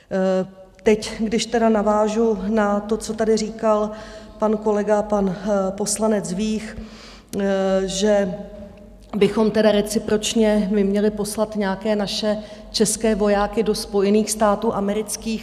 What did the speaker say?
Teď když tedy navážu na to, co tady říkal pan kolega, pan poslanec Vích, že bychom tedy recipročně my měli poslat nějaké naše české vojáky do Spojených států amerických.